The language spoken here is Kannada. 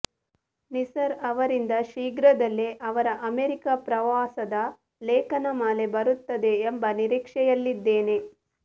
ನಿಸಾರ್ ಆವರಿಂದ ಶ್ರೀಘ್ರದಲ್ಲೇ ಅವರ ಅಮೆರಿಕ ಪ್ರವಾಸದ ಲೇಖನ ಮಾಲೆ ಬರುತ್ತದೆ ಎಂಬ ನಿರೀಕ್ಷೆಯಲ್ಲಿದ್ದೇನೆ